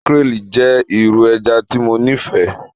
Makrel jẹ iru ẹja ti Mo nifẹ